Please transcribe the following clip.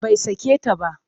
Bai sake ta ba